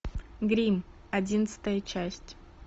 гримм одиннадцатая часть